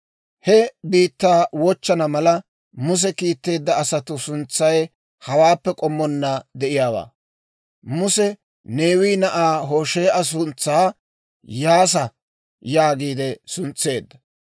He biittaa wochchana mala, Muse kiitteedda asatuu suntsay hawaappe k'ommonna de'iyaawaa. Muse Neewe na'aa Hoshee'a suntsaa Iyyaasa yaagiide suntseedda.